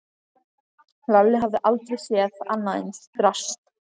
Lalli hafði aldrei séð annað eins drasl.